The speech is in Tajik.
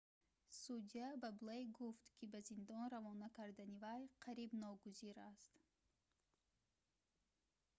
судя ба блейк гуфт ки ба зиндон равона кардани вай қариб ногузир аст